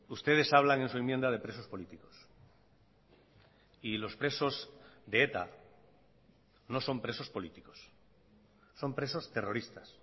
ustedes hablan en su enmienda de presos políticos y los presos de eta no son presos políticos son presos terroristas